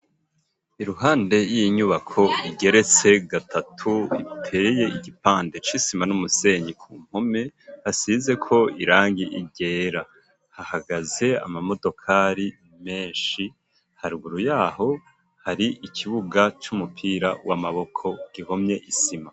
Iruhande y'iyinyubako igeretse gatatu iteye igipande c'isima n'umusenyi ku nkome hasizeko irangi ryera hahagaze amamodokari menshi haruguru yaho hari ikibuga c'umupira w'amaboko gihomye n'isima.